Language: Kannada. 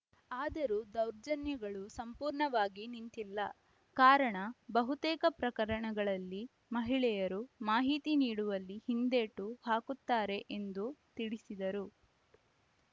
ಆದರೂ ದೌರ್ಜನ್ಯಗಳು ಸಂಪೂರ್ಣವಾಗಿ ನಿಂತಿಲ್ಲ ಕಾರಣ ಬಹುತೇಕ ಪ್ರಕರಣಗಳಲ್ಲಿ ಮಹಿಳೆಯರು ಮಾಹಿತಿ ನೀಡುವಲ್ಲಿ ಹಿಂದೇಟು ಹಾಕುತ್ತಾರೆ ಎಂದು ತಿಳಿಸಿದರು